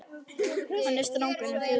Hann er strangur og föður legur á svip.